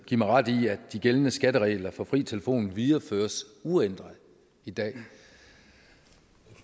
give mig ret i at de gældende skatteregler for fri telefon videreføres uændret i dag